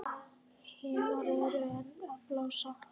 Hinar eru enn að blása.